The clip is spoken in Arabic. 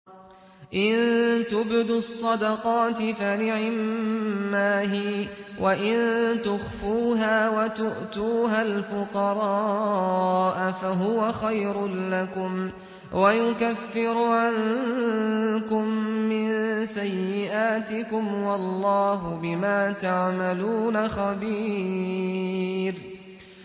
إِن تُبْدُوا الصَّدَقَاتِ فَنِعِمَّا هِيَ ۖ وَإِن تُخْفُوهَا وَتُؤْتُوهَا الْفُقَرَاءَ فَهُوَ خَيْرٌ لَّكُمْ ۚ وَيُكَفِّرُ عَنكُم مِّن سَيِّئَاتِكُمْ ۗ وَاللَّهُ بِمَا تَعْمَلُونَ خَبِيرٌ